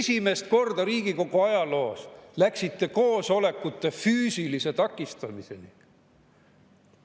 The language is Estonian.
Esimest korda Riigikogu ajaloos läksite koosolekute füüsilise takistamiseni.